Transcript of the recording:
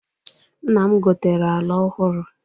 Nna m gotere ala ọhụrụ.